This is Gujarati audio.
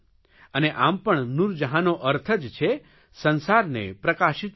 અને આમ પણ નૂરજહાંનો અર્થ જ છે સંસારને પ્રકાશિત કરવો